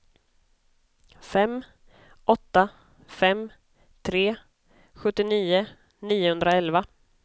fem åtta fem tre sjuttionio niohundraelva